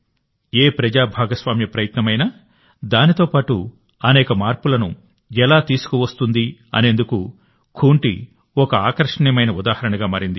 ఏ ప్రజా భాగస్వామ్య ప్రయత్నమైనా దానితో పాటు అనేక మార్పులను ఎలా తీసుకువస్తుందనేందుకు ఖూంటి ఒక ఆకర్షణీయమైన ఉదాహరణగా మారింది